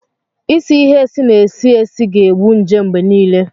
Ịsị ịhe esi na-esi esi ga-egbu nje mgbe niile